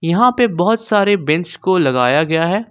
यहां पे बहुत सारे बेचेंस को लगाया गया है।